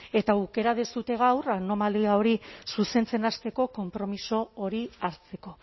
eta aukera duzue gaur anomalia hori zuzentzen hasteko konpromiso hori hasteko